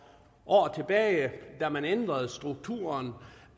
år tilbage da man ændrede strukturen